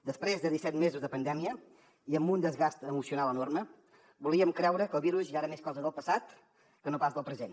després de disset mesos de pandèmia i amb un desgast emocional enorme volíem creure que el virus ja era més cosa del passat que no pas del present